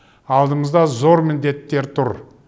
алдымызда зор міндеттер тұр